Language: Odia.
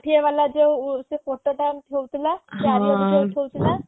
ଷାଠିଏ ବାଲା ଯୋଉ ସେ photo ଟା ଉଠଉ ଥିଲା ଉଠଉ ଥିଲା